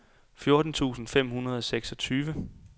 fjorten tusind fem hundrede og seksogtyve